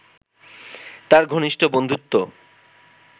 তাঁর ঘনিষ্ঠ বন্ধুত্ব